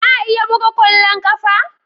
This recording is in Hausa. Za a iya buga kwallon kafa?